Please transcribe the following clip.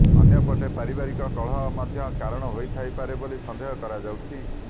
ଅନ୍ୟପଟେ ପାରିବାରିକ କଳହ ମଧ୍ୟ କାରଣ ହୋଇଥାଇପାରେ ବୋଲି ସନ୍ଦେହ କରାଯାଉଛି